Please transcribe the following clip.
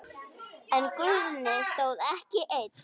En Guðni stóð ekki einn.